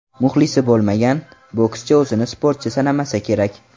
Muxlisi bo‘lmagan bokschi o‘zini sportchi sanamasa kerak.